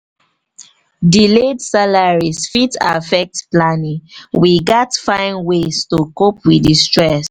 delayed salaries fit affect planning; we gats find ways to cope with di stress.